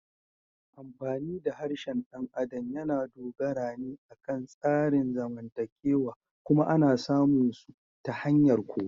Amfani da harshen ɗan adam yana dogara ne akan tsarin zamantakewa kuma ana samun su ta hanyar koyo.